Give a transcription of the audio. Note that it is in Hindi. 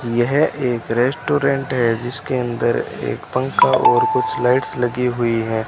यह एक रेस्टोरेंट है जिसके अंदर एक पंखा और कुछ लाइट्स लगी हुई हैं।